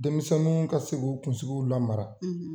Denmisɛnnuw ka se k'u kunsigiw lamara